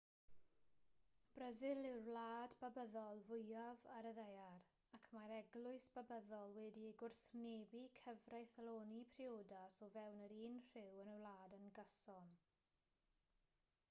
brasil yw'r wlad babyddol fwyaf ar y ddaear ac mae'r eglwys babyddol wedi gwrthwynebu cyfreithloni priodas o fewn yr un rhyw yn y wlad yn gyson